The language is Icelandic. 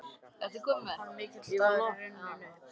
Hinn mikli dagur er runninn upp.